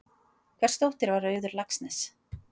Hvers dóttir var Auður Laxness?